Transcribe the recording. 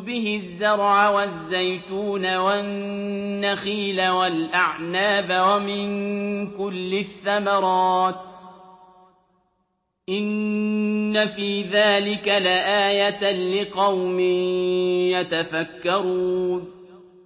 بِهِ الزَّرْعَ وَالزَّيْتُونَ وَالنَّخِيلَ وَالْأَعْنَابَ وَمِن كُلِّ الثَّمَرَاتِ ۗ إِنَّ فِي ذَٰلِكَ لَآيَةً لِّقَوْمٍ يَتَفَكَّرُونَ